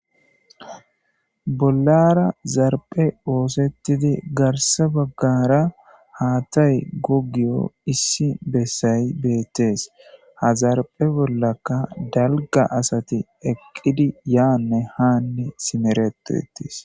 Bollara zarphe oosettidi garse baggara haatay gogiyo issi bessay beettees ha zarphe bollaka dalga asati eqqidi yaanne haanne simeretuetis.